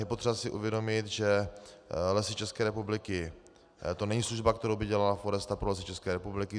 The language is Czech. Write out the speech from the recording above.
Je potřeba si uvědomit, že Lesy České republiky - to není služba, kterou by dělala Foresta pro Lesy České republiky.